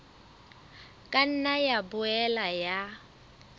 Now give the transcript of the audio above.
ka nna ya boela ya